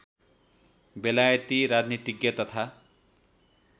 बेलायती राजनीतिज्ञ तथा